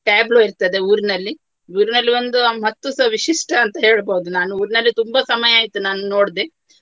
Tableau ಇರ್ತದೆ ಊರಿನಲ್ಲಿ. ಊರಿನಲ್ಲಿ ಒಂದು ಮತ್ತು ಸ ವಿಶಿಷ್ಟ ಅಂತ ಹೇಳ್ಬಹುದು ನಾನು. ಊರಿನಲ್ಲಿ ತುಂಬಾ ಸಮಯ ಆಯ್ತು ನಾನ್ ನೋಡ್ದೆ.